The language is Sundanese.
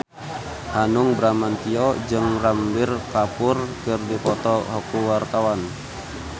Hanung Bramantyo jeung Ranbir Kapoor keur dipoto ku wartawan